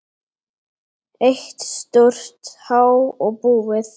Eitt stórt há og búið.